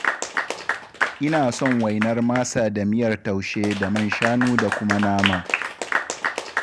Ina son wainar masa da miyar taushe da man shanu da kuma nama.